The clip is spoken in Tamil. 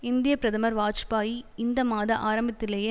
இந்திய பிரதமர் வாஜ்பாயி இந்த மாத ஆரம்பத்திலேயே